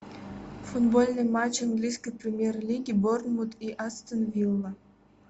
футбольный матч английской премьер лиги борнмут и астон вилла